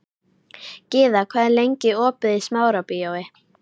Gyða, hvað er lengi opið í Smárabíói?